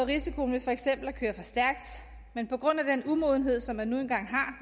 risikoen ved for eksempel at køre for stærkt men på grund af den umodenhed som man nu engang har